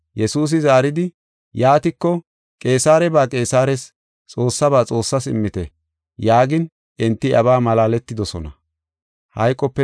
Yesuusi zaaridi, “Yaatiko, Qeesareba Qeesares, Xoossaba Xoossaas immite” yaagin enti iyabaa malaaletidosona.